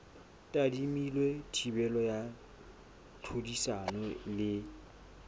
tadimilwe thibelo ya tlhodisano le